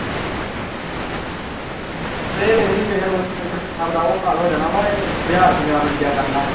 ਇਹ ਵੇਖ ਲਈ ਕਿਸੇ ਰੋਜ਼ ਇੱਥੇ ਪੰਜਾਬ ਦਾ ਉਹ ਹਾਲ ਹੋ ਜਾਣਾ ਵੀ ਬਿਹਾਰ ਪੰਜਾਬ ਵੱਜਿਆ ਕਰਨਾ ਵਾਂ।